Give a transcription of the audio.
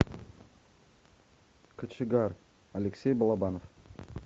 кочегар алексей балабанов